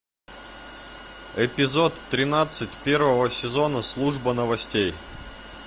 эпизод тринадцать первого сезона служба новостей